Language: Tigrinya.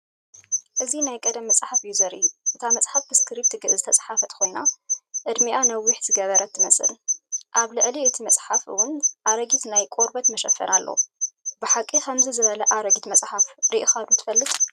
እዚ ናይ ቀደም መጽሓፍ እዩ ዘርኢ። እታ መጽሓፍ ብስክሪፕት ግዕዝ ዝተጻሕፈት ኮይና ዕድሚኣ ነውሕ ዝገበረት ትመስል። ኣብ ልዕሊ እቲ መጽሓፍ እውን ኣረጊት ናይ ቆርበት መሸፈኒ ኣሎ። ብሓቂ ከምዚ ዝበለ ኣረጊት መጽሓፍ ርኢኻ ዶ ትፈልጥ?